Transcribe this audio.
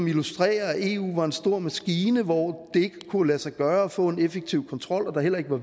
illustrere at eu var en stor maskine hvor det ikke kunne lade sig gøre at få en effektiv kontrol og der heller ikke var